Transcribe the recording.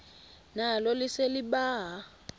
nalo lise libaha